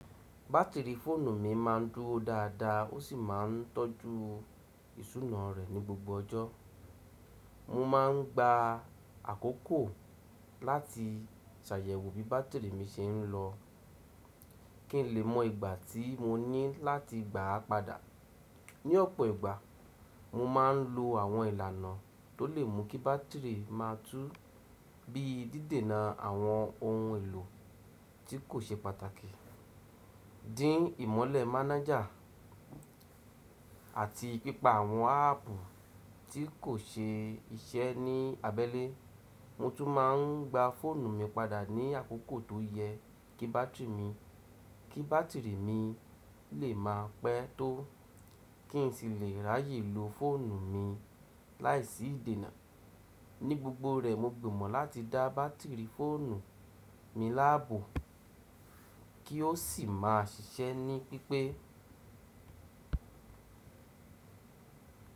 Batiri foonu mi ma ń duro dada o si ma ń tọju isuna rẹ ni gbogbo ọjọ. Mo ma n gba akoko lati ṣayẹwo bi batiri mi ṣe n lọ, kin le mọ igba ti mo ni lati gba pada. Ni ọpọ igba, mo ma n lo awọn ilana to le mu ki batiri ma tú, bii dide na awọn ohun elo ti ko ṣe pataki, din imọlẹ manager, ati pipa awọn apu ti ko ṣe iṣẹ ni abẹle. Mo tun ma n gba foonu mi pada ni akoko to yẹ ki batiri mi le ma pẹ to, kin si le raye lo foonu mi laisi idena. Ni gbogbo rẹ, mo gbọmọ lati da batiri foonu mi labo ki o si ma ṣiṣẹ ni pipe.